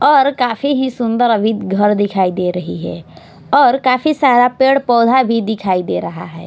और काफी ही सुंदर अभी घर दिखाई दे रही है और काफी सारा पेड़ पौधा भी दिखाई दे रहा है।